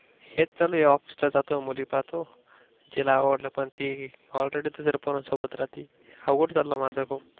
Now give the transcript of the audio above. हेच चालू आहे Office ला जातो मुली पाहतो. जिला आवडल पन ती Already दुसऱ्या पोरांसोबत राहती आवघड चाललं माझ पण.